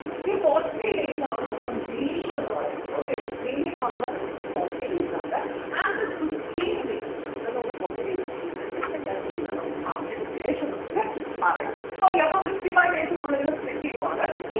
ഈ forty days ആണ് നമ്മളെ main എന്ന് പറയുന്നത് okay main നമ്മുടെ വരുന്നത് forty days ആണ് ആകെ fifteen days അത് നമുക്ക് forty days ചെയ്തിട്ട് എന്തൊക്കെയാ ചെയ്യുന്നേന്നുള്ളത് പറഞ്ഞതിന് ശേഷം നമുക്ക് പറയാം okay അപ്പൊ fifty five days നമ്മളിങ്ങനെ split ചെയ്യുവാണ്